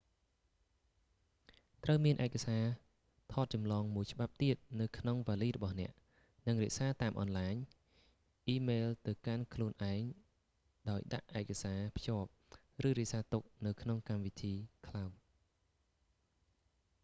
ត្រូវមានឯកសារថតចម្លងមួយច្បាប់ទៀតនៅក្នុងវាលីរបស់អ្នក និងរក្សាតាមអនឡាញ អ៊ីម៉ែលទៅកាន់ខ្លួនឯងដោយដាក់ឯកសារភ្ជាប់ ឬរក្សាទុកនៅក្នុងកម្មវិធី ក្លោដ៍